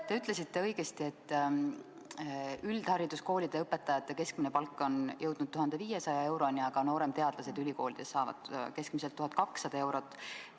Te ütlesite õigesti, et üldhariduskoolide õpetajate keskmine palk on jõudnud 1500 euroni, aga nooremteadlased ülikoolides saavad keskmiselt 1200 eurot.